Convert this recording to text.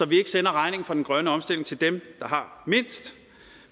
vi ikke sender regningen for den grønne omstilling til dem der har mindst